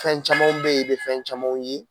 Fɛn camanw be yen i be fɛn camanw ye